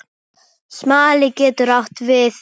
Smali getur átt við